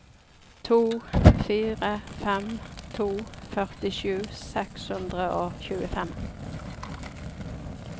to fire fem to førtisju seks hundre og tjuefem